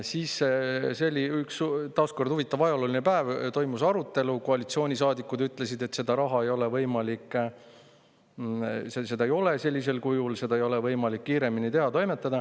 See oli taas huvitav ajalooline päev, toimus arutelu, koalitsioonisaadikud ütlesid, et seda raha ei ole sellisel kujul, seda ei ole võimalik kiiremini teha.